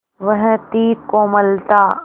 वह थी कोमलता